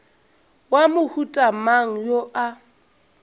wa mohuta mang yo a